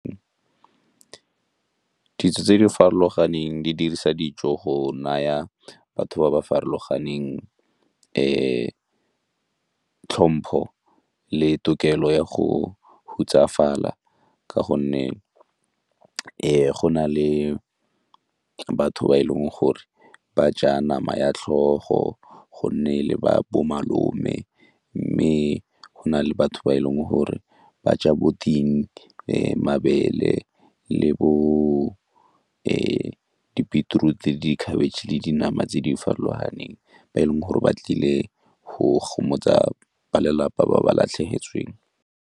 Ditso tse di farologaneng di dirisa dijo go naya batho ba ba farologaneng tlhompho le tokelo ya go hutsafala ka gonne go na le ke batho ba e leng gore ba ja nama ya tlhogo go nne le bo malome mme go na le batho ba e leng gore ba ja bo ting, mabele le bo di-beetroot-i le dikhabitšhe le dinama tse di farologaneng ba e leng gore ba tlile gomotsa ba lelapa ba ba latlhegetsweng.